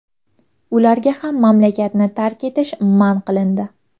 Ularga ham mamlakatni tark etish man qilindi.